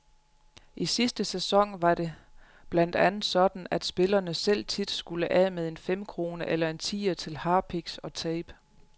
I sidste sæson var det blandt andet sådan, at spillerne selv tit skulle af med en femkrone eller en tier til harpiks og tape.